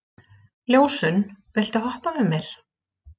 Ljósunn, viltu hoppa með mér?